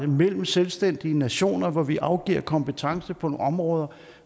mellem selvstændige nationer hvor vi afgiver kompetence på nogle områder